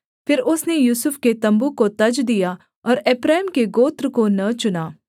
फिर उसने यूसुफ के तम्बू को तज दिया और एप्रैम के गोत्र को न चुना